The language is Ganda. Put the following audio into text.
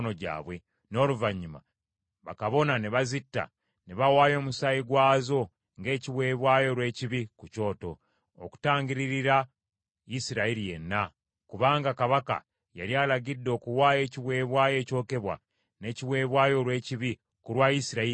n’oluvannyuma bakabona ne bazitta, ne bawaayo omusaayi gwazo ng’ekiweebwayo olw’ekibi ku kyoto, okutangiririra Isirayiri yenna, kubanga kabaka yali alagidde okuwaayo ekiweebwayo ekyokebwa n’ekiweebwayo olw’ekibi ku lwa Isirayiri yenna.